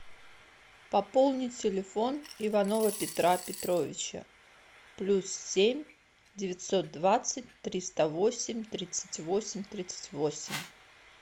пополни телефон иванова петра петровича плюс семь девятьсот двадцать триста восемь тридцать восемь тридцать восемь